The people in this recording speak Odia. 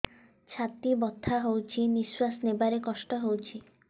ଛାତି ବଥା ହଉଚି ନିଶ୍ୱାସ ନେବାରେ କଷ୍ଟ ହଉଚି